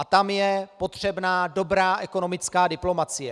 A tam je potřebná dobrá ekonomická diplomacie.